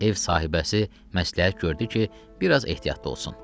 Ev sahibəsi məsləhət gördü ki, biraz ehtiyatlı olsun.